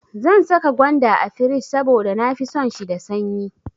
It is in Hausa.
Zan saka gwanda a firij saboda na fi son shi da sanyi.